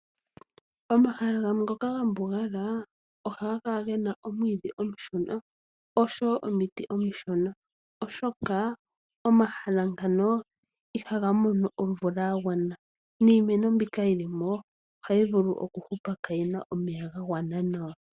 Omahala gamwe ngoka ga mbugala ohaga kala gena omwiidhi omushona osho wo omiti omishona oshoka, omahala ngano ihaga mono omvula ya gwana niimeno mbika yilimo oha yi vulu oku hupa kaayina omeya ga gwana nawa.